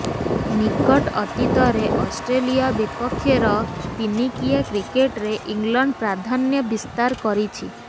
ନିକଟ ଅତୀତରେ ଅଷ୍ଟ୍ରେଲିଆ ବିପକ୍ଷେର ଦିନିକିଆ କ୍ରିକେଟରେ ଇଂଲଣ୍ଡ ପ୍ରାଧାନ୍ୟ ବିସ୍ତାର କରିଛି